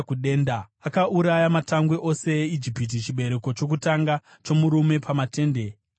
Akauraya matangwe ose eIjipiti, chibereko chokutanga chomurume pamatende aHamu.